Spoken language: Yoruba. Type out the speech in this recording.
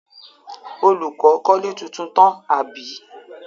Olùkọ́ kọ́lé tuntun tán, àbí?